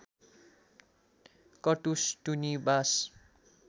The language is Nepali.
कटुस टुनी बाँस